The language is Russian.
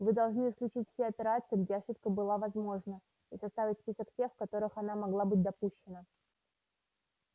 вы должны исключить все операции где ошибка была возможна и составить список тех в которых она могла быть допущена